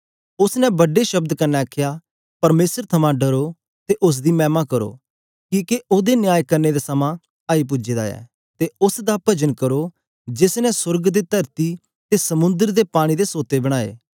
उस्स ने बड्डे शब्द कन्ने आखया परमेसर थमां डरो ते उस्स दी मैमा करो किके ओदे न्याय करने दा समां आई पूजे दा ऐ ते उस्स दा पजन करो जेस ने सोर्ग ते तरती ते समुंद्र ते पानी दे सोते बनाए